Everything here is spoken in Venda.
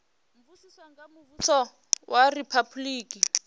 bvisiwa nga muvhuso wa riphabuliki